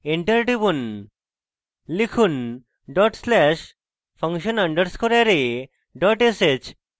enter টিপুন লিখুন dot slash function underscore array dot sh